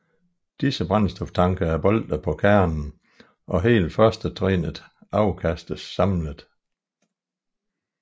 Disse brændstoftanke er boltet på kernen og hele førstetrinnet afkastes samlet